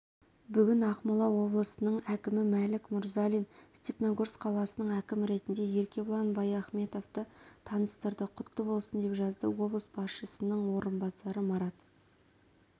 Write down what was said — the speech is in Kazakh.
бүгін ақмола облысының әкімі мәлік мұрзалин степногорск қаласының әкімі ретінде еркебұлан баяхметовті таныстырды құтты болсын деп жазды облыс басшының орынбасары марат